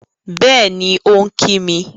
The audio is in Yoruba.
Bẹ́ẹ̀ni, ó ń kí mi